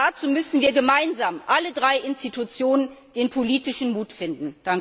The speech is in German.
Dazu müssen wir gemeinsam alle drei Institutionen den politischen Mut finden!